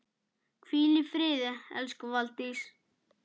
Hvíl í friði elsku Valdís.